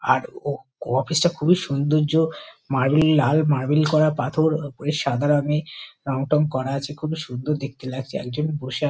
আর office -টা খুবই সুন্দর্য মার্বেল লাল মার্বেল করা পাথর। সাদা রঙে রং-টঙ করা আছে। খুবই সুন্দর দেখতে লাগছে। একজন বসে আ--